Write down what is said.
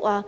頭。